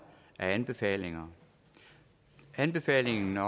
anbefalingerne anbefalingen